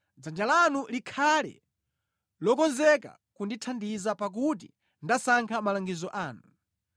Dzanja lanu likhale lokonzeka kundithandiza pakuti ndasankha malangizo anu.